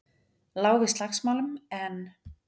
Lá við slagsmálum, en